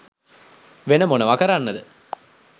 වෙන මොනව කරන්නද